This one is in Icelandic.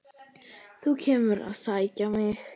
Þú kemur að sækja mig.